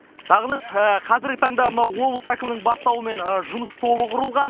сағыныш қазіргі таңда мына облыс әкімінің бастауымен жұмыс тобы құрылған